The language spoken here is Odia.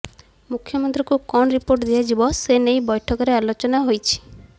ମୁଖ୍ୟମନ୍ତ୍ରୀଙ୍କୁ କଣ ରିପୋର୍ଟ ଦିଆଯିବ ସେ ନେଇ ବୈଠକରେ ଆଲୋଚନା ହୋଇଛି